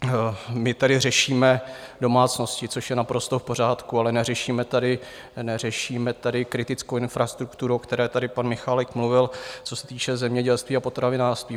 My tady řešíme domácnosti, což je naprosto v pořádku, ale neřešíme tady kritickou infrastrukturu, o které tady pan Michálek mluvil, co se týče zemědělství a potravinářství.